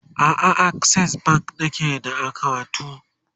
a'a a akses bank nake da akawunt